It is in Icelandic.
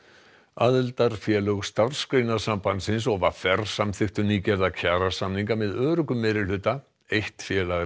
aðildarfélög Starfsgreinasambandsins og v r samþykktu nýgerða kjarasamninga með öruggum meirihluta eitt félag